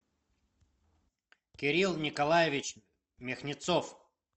кирилл николаевич михнецов